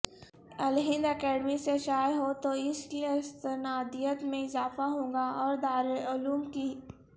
الہنداکیڈمی سے شائع ہوتواس کی استنادیت میں اضافہ ہوگااور دارالعلوم کی